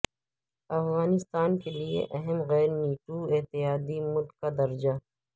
افغانستان کے لیے اہم غیر نیٹو اتحادی ملک کا درجہ